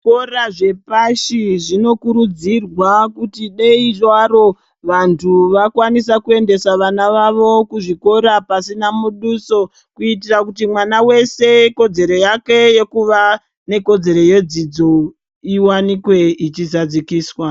Zvikora zvepashi zvinokurudzirwa kuti dei zvavo vantu vakwanise kuendesa vana vavo kuzvikora pasina muduso kuitira mwana wese kodzero yekuva nekodzero yedzidzo iwanikwa ichidzidziswa.